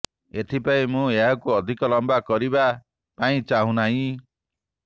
ଏଥିପାଇଁ ମୁଁ ଏହାକୁ ଅଧିକ ଲମ୍ୱା କରିବା ପାଇଁ ଚାହୁଁନାହିଁ